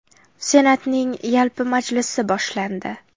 Senatning yalpi majlisi boshlandi.